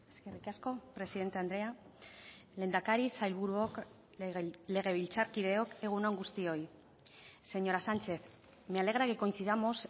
eskerrik asko presidente andrea lehendakari sailburuok legebiltzarkideok egun on guztioi señora sánchez me alegra que coincidamos